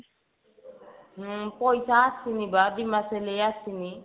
ହଁ ପଇସା ଆସିନି ବା ଦି ମାସ ହେଲାଣି ଆସିନି